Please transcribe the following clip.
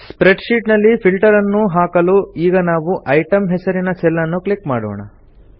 spread sheet ನಲ್ಲಿ filter ನ್ನು ಹಾಕಲು ಈಗ ನಾವು ಇಟೆಮ್ ಹೆಸರಿನ ಸೆಲ್ ನ್ನು ಕ್ಲಿಕ್ ಮಾಡೋಣ